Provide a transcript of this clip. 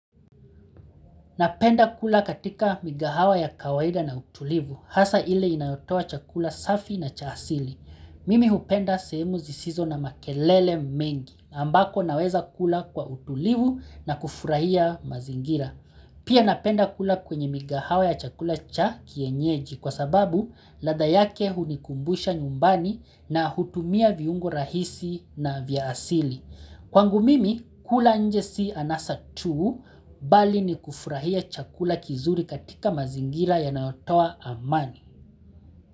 Napenda kula katika mikahawa ya kawaida na utulivu, hasa ile inayotowa chakula safi na cha asili. Mimi hupenda sehemu zisizo na makelele mengi, ambayo naweza kula kwa utulivu na kufurahia mazingira. Pia napenda kula kwenye mikahawa ya chakula cha kienyeji kwa sababu ladha yake hunikumbusha nyumbani na hutumia viungo rahisi na vya asili. Kwangu mimi kula nje si anasa tu bali ni kufurahia chakula kizuri katika mazingira yanayotoa amani.